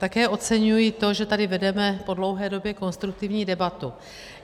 Také oceňuji to, že tady vedeme po dlouhé době konstruktivní debatu.